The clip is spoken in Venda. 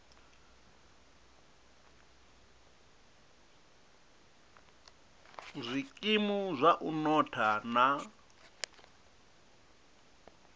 zwikimu zwa u notha na